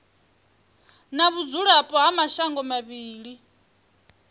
na vhudzulapo ha mashango mavhili